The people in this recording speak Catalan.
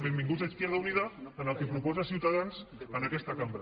benvinguts izquierda unida al que proposa ciutadans en aquesta cambra